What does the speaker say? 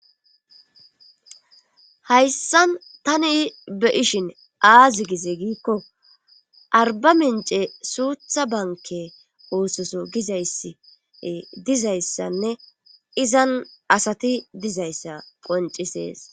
Hayssan tani beishin aazi gize giikko arba mince suutha banke oososo gizayss dizayssanne izan asati dizayssa qoncisees.